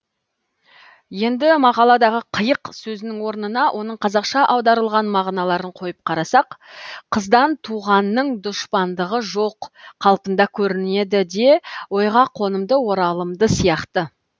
енді мақалдағы қиық сөзінің орнына оның қазақша аударылған мағыналарын қойып қарасақ қыздан туғанның дұшпандығы жоқ қалпында көрінеді де ойға қонымды оралымды сияқты